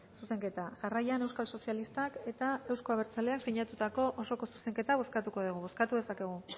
zuzenketa jarraian euskal sozialistak eta euzko abertzaleak sinatutako osoko zuzenketa bozkatuko degu bozkatu dezakegu